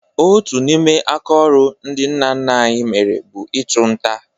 Otu n'ime akaọrụ ndị nna nna anyị mere bụ ịchụ nta